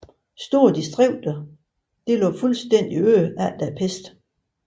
Store distrikter lå fuldstændig øde efter pesten